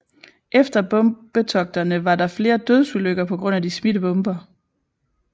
Efter bombetogterne var der flere dødsulykker pga de smidte bomber